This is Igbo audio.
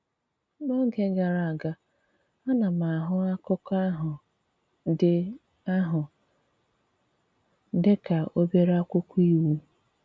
N’ógè gara aga, a na m ahụ̀ akụkọ̀ ahụ̀ dị ahụ̀ dị ka obere akwụkwọ iwu.